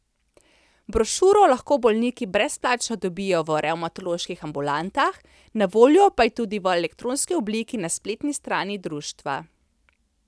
Brošuro lahko bolniki brezplačno dobijo v revmatoloških ambulantah, na voljo pa je tudi v elektronski obliki na spletni strani društva.